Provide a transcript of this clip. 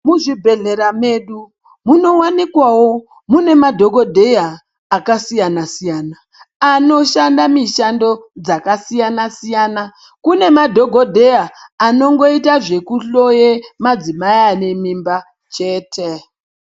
Muchibhedhlera medu munowanikwawo muine madhogodheya akasiyana-siyana, anoshanda mishando dzakasiyana-siyana. Kune madhogodheya anongoita zvekuhloye madzimai anemimba chete.